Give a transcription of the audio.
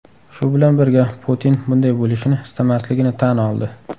Shu bilan birga, Putin bunday bo‘lishini istamasligini tan oldi.